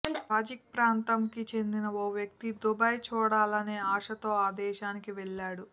Tajik ప్రాంతంకి చెందిన ఓ వ్యక్తి దుబాయ్ చూడాలనే ఆశతో ఆ దేశానికి వెళ్ళాడు